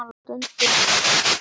En hann á stundum að vera hjá mér.